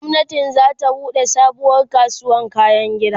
gwamnati zata buɗe sabuwar kasuwar kayan gini